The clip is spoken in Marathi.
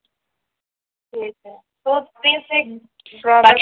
हो तर. तेच एक